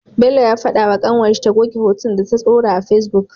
Bello ya fada wa kanwar shi ta goge hotunnan da ta dora a face book